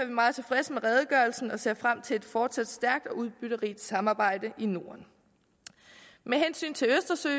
vi meget tilfredse med redegørelsen og ser frem til et fortsat stærkt og udbytterigt samarbejde i norden med hensyn til